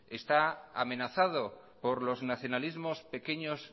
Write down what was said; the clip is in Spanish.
está amenazado por los nacionalismos pequeños